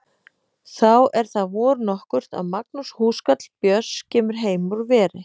Þá er það vor nokkurt að Magnús húskarl Björns kemur heim úr veri.